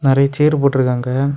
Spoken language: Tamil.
நெறைய சேர் போட்டு இருக்காங்க.